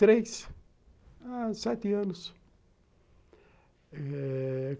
Três? ah... sete anos, eh...